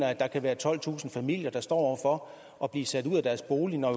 at der kan være tolvtusind familier der står overfor at blive sat ud af deres bolig når